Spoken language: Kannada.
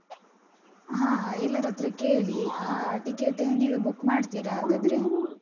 ಹ ಎಲ್ಲರತ್ರ ಕೇಳಿ, ಆ ticket ನೀವೇ book ಮಾಡ್ತೀರ ಹಾಗಾದ್ರೆ?